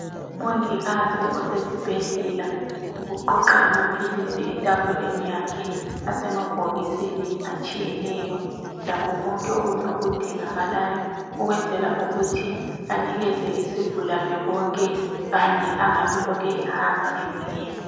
Umongikazi osesibhedlela uqoqa amaphilisi etafuleni yakhe asemabhokisini atshiyeneyo lakho konke okunye okudingakalayo ukwenzela ukuthi anikeze isigulani konke kanye angabe elokhe ehamba ebuyela.